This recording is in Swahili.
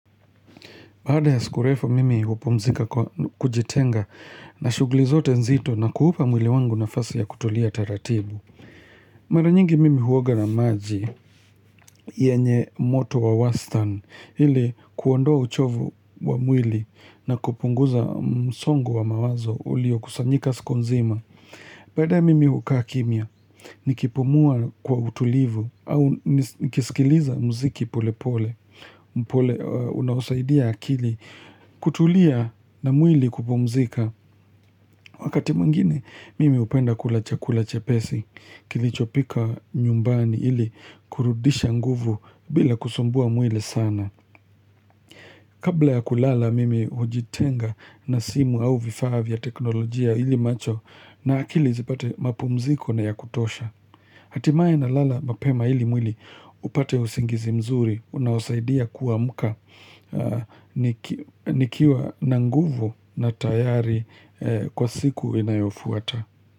Baada ya siku refu mimi hupumzika kwa kujitenga na shuguli zote nzito na kuhupa mwili wangu nafasi ya kutulia taratibu. Mara nyingi mimi huoga na maji yenye moto wa wastani ili kuondoa uchovu wa mwili na kupunguza msongo wa mawazo ulio kusanyika siku nzima. Baadaye mimi hukaa kimya, nikipumua kwa utulivu au nikisikiliza mziki pole pole, unaosaidia akili kutulia na mwili kupumzika. Wakati mwingine, mimi hupenda kula chakula chapesi, kilichopika nyumbani ili kurudisha nguvu bila kusumbua mwili sana. Kabla ya kulala mimi hujitenga na simu au vifaa vya teknolojia ili macho na akili zipate mapumziko na yakutosha. Hatimaye na lala mapema ili mwili upate usingizi mzuri, unaosaidia kuamka nikiwa na nguvu na tayari kwa siku inayofuata.